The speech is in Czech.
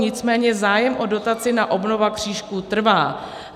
Nicméně zájem o dotaci na obnovu křížků trvá.